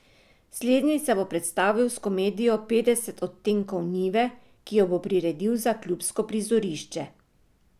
Slednji se bo predstavil s komedijo Petdeset odtenkov njive, ki jo bo priredil za klubsko prizorišče.